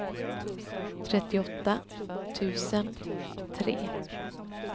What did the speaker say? trettioåtta tusen tre